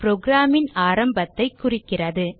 program ன் ஆரம்பத்தைக் குறிக்கிறது